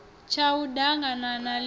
tshau d aganana ḽi a